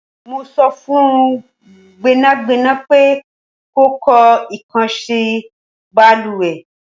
Mó so fun Gbẹ́nàgbẹ́nà pé kò kọ ikokansi baluwe